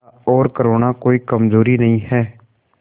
दया और करुणा कोई कमजोरी नहीं है